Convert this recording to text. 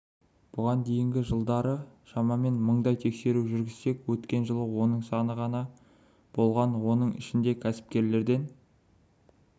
бұған дейінгі жылдары шамамен мыңдай тексеру жүргізсек өткен жылы оның саны ғана болған оның ішінде кәсіпкерлерден